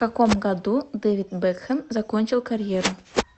в каком году дэвид бекхэм закончил карьеру